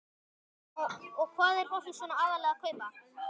Jóhanna: Og hvað er fólk svona aðallega að kaupa?